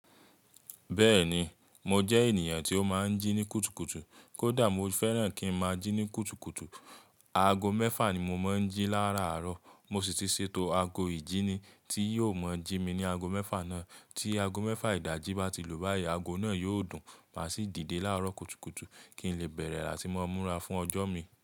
Bẹ́ẹ̀ni, mo jẹ́ ènìyàn tí ó máa ń jí ní kùtùkùtù. Kódà mo fẹ́ràn kí n máa jí ní kùtùkùtù. Ago mẹ́fà ni mo máa ń jí láàárọ̀. Mo sì ti ṣètò ago ìjíni tí yóò máa jí mi ní ago mẹ́fà náà. Tí ago mẹ́fà ìdajì bá ti lùú báyìí, ago náà yóò dùn, màá sì dìde láàárọ̀ kùtùkùtù kí n lè bẹ̀rẹ̀ rà tí mo múra fún ọjọ́ mi.